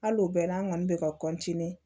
Hali o bɛɛ n'an kɔni bɛ ka